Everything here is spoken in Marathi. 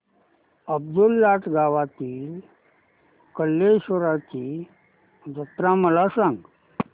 अब्दुललाट गावातील कलेश्वराची जत्रा मला सांग